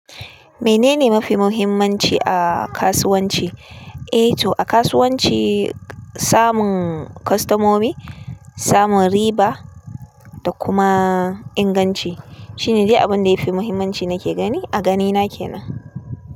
Menene mafi muhimmanci a kasuwanci? E to a kasuwanci, samun kostomomi, samun riba da kuma inganci. Shine dai abun da yafi muhimmanci nake gani, a ganina kenan.